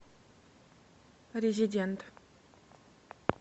резидент